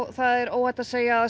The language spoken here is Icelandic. það er óhætt að segja að